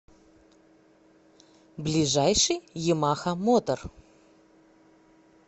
ближайший ямаха мотор